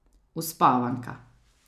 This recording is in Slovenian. Uspavanka.